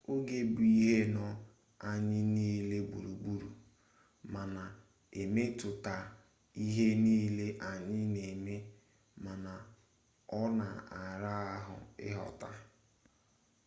oge bụ ihe nọ anyị niile gburugburu ma na-emetụta ihe niile anyị na-eme mana ọ na-ara ahụ ịghọta